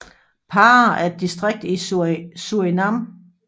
Para er et distrikt i Surinam